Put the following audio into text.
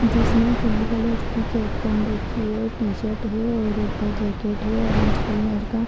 जिसने पिले कलर की कैप पेहन रखी है टी-शर्ट है और ऊपर जैकेट है ऑरेंज कलर का |